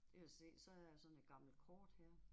Det kan du se så er der sådan et gammelt kort her